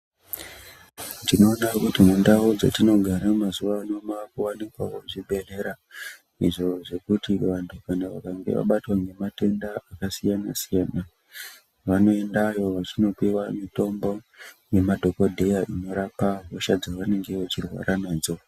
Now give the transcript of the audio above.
Tinoda kuti mundau dzetinogara mazuwa ano maakuwanikawo zvibhedhlera, izvo zvekuti vantu kana vakange vabatwa ngematenda akasiyana-siyana vanoendayo vachinopiwa mutombo nemadhokodheya inorapa hosha dzevanenge vechirwara nadzo.